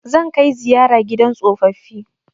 Zan kai ziyara gidan tsofaffi